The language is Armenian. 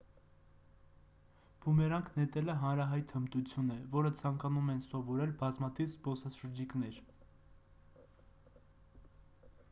բումերանգ նետելը հանրահայտ հմտություն է որը ցանկանում են սովորել բազմաթիվ զբոսաշրջիկներ